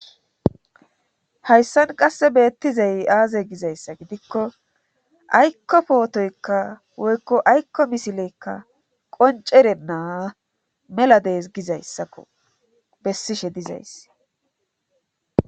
Hayssan qasse beettizay aaze gizayssa gidikko aykko pootoykka woykko aykko misileykka qoncere naa mela dees gizayssakko bessishe dizays